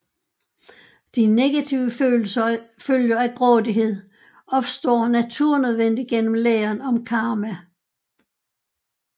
De negative følger af grådighed opstår naturnødvendigt gennem læren om karma